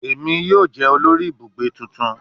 Emi yoo jẹ olori ibugbe tuntun